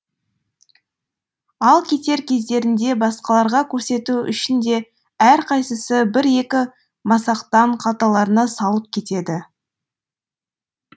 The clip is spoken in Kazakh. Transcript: ал кетер кездерінде басқаларға көрсету үшін де әрқайсысы бір екі масақтан қалталарына салып кетеді